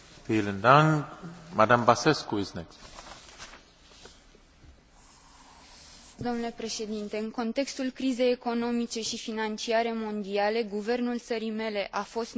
În contextul crizei economice și financiare mondiale, guvernul țării mele a fost nevoit să reducă salariile bugetarilor, pensiile, ajutorul de șomaj și să taie subvențiile.